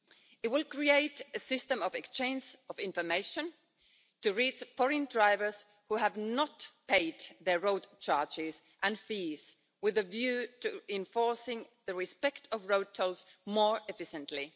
It will create a system of exchange of information to reach foreign drivers who have not paid their road charges and fees with a view to enforcing the respect of road tolls more efficiently.